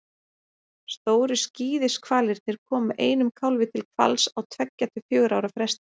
stóru skíðishvalirnir koma einum kálfi til hvals á tveggja til fjögurra ára fresti